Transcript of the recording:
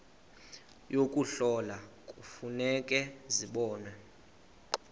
yokuhlola kufuneka zibonwe